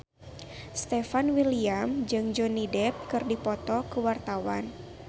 Stefan William jeung Johnny Depp keur dipoto ku wartawan